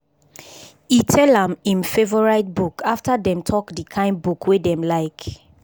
e tell am im favourite book after dem talk di kain book wey dem like